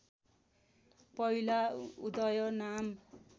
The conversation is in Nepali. पहिला उदय नाम